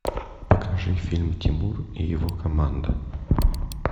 покажи фильм тимур и его команда